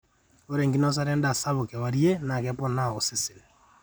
ore enkinosata endaa sapuk kewarie naa keponaa osesen